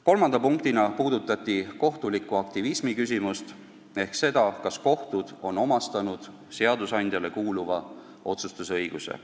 Kolmandaks puudutati kohtuliku aktivismi küsimust ehk seda, kas kohtud on omastanud seadusandjale kuuluva otsustusõiguse.